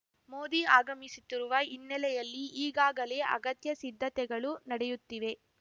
ಮೋದಿ ಆಗಮಿಸುತ್ತಿರುವ ಹಿನ್ನೆಲೆಯಲ್ಲಿ ಈಗಾಗಲೇ ಅಗತ್ಯ ಸಿದ್ಧತೆಗಳು ನಡೆಯುತ್ತಿವೆ